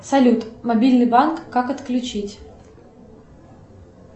салют мобильный банк как отключить